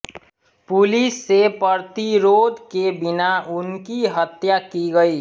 police से प्रतिरोध के बिना उनकी हत्या की गयी